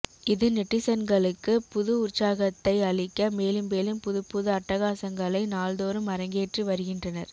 இது நெட்டிசன்களுக்கு புது உற்சாகத்தை அளிக்க மேலும் மேலும் புதுப்புது அட்டகாசங்களை நாள்தோறும் அரங்கேற்றி வருகின்றனர்